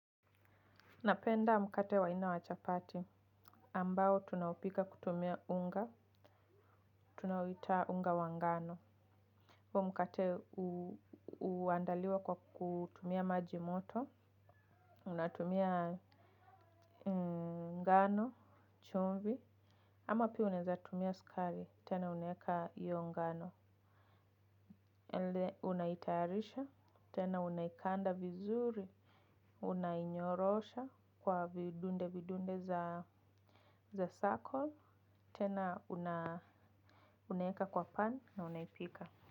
Napenda mkate wa aina ya chapati. Ambao tunaupika kutumia unga. Tunauita unga wa ngano. Mkate huandaliwa kwa kutumia maji moto. Unatumia ngano. Chumvi. Ama pia unaweza tumia sukari. Tena unaweka hiyo ngano. Unaitayarisha. Tena unaikanda vizuri. Unainyorosha kwa vidunde vidunde za circle. Tena unaweka kwa pan na unaipika.